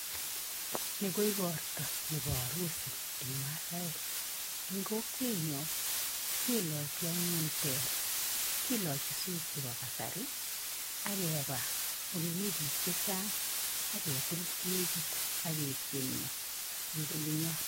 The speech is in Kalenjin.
Ni ko ikorta nebo arusi eng masaeek. Eng kokwenyo kelochi anyun teer. Kilochi suit chebo kasari ak keba ole mi biik chechang' ak ketil kekit, ak ketienyo eng olenyo.